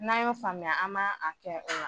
N'a y'o faamuya an b'a a kɛ o la